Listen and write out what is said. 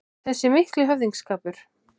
Þessi mikli höfðingsskapur